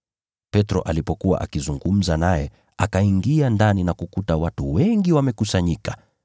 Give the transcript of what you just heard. Petro alipokuwa akizungumza naye akaingia ndani na kukuta watu wengi wamekusanyika.